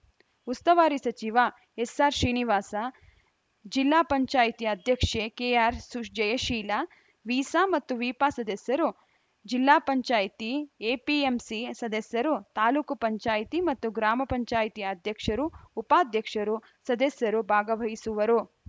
ಉಸ್ತವಾರಿ ಸಚಿವ ಎಸ್‌ಆರ್‌ಶ್ರೀನಿವಾಸ ಜಿಲ್ಲಾ ಪಂಚಾಯತಿ ಅಧ್ಯಕ್ಷೆ ಕೆಆರ್‌ಜಯಶೀಲ ವಿಸ ಮತ್ತು ವಿಪ ಸದಸ್ಯರು ಜಿಪಂ ಎಪಿಎಂಸಿ ಸದಸ್ಯರು ತಾಲೂಕ್ ಪಂಚಾಯಿತಿ ಮತ್ತು ಗ್ರಾಮ ಪಂಚಾಯಿತಿ ಅಧ್ಯಕ್ಷರು ಉಪಾಧ್ಯಕ್ಷರು ಸದಸ್ಯರು ಭಾಗವಹಿಸುವರು